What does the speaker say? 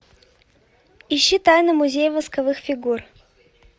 ищи тайны музея восковых фигур